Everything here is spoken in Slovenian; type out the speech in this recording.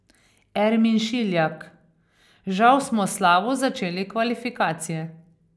Ermin Šiljak: 'Žal smo slabo začeli kvalifikacije.